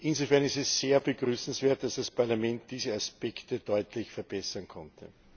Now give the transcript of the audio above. Insofern ist es sehr begrüßenswert, dass das Parlament diese Aspekte deutlich verbessern konnte.